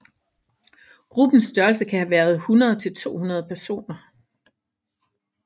Gruppens størrelse kan have været 100 til 200 personer